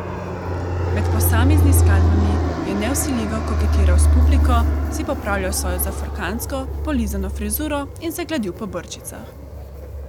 Med posameznimi skladbami je nevsiljivo koketiral s publiko, si popravljal svojo zafrkantsko, polizano frizuro in se gladil po brčicah.